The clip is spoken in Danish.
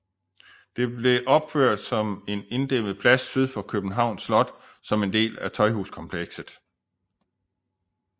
Det blev opført på en inddæmmet plads syd for Københavns Slot som en del af Tøjhuskomplekset